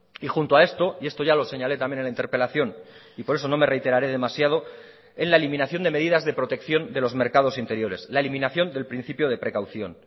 y junto a esto y esto ya lo señalé también en la interpelación y por eso no me reiteraré demasiado en la eliminación de medidas de protección de los mercados interiores la eliminación del principio de precaución